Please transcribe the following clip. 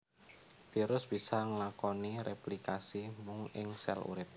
Virus bisa nglakoni réplikasi mung ing sèl urip